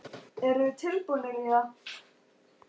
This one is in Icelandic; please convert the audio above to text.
Eruð þið tilbúnir í það?